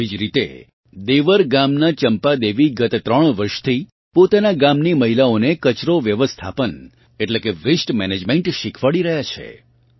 આવી જ રીતે દેવર ગામનાં ચમ્પાદેવી ગયા ત્રણ વર્ષથી પોતાનાં ગાંમની મહિલાઓને કચરો વ્યવસ્થાપન એટલે કે વેસ્ટ મેનેજમેન્ટ શીખવાડી રહ્યાં છે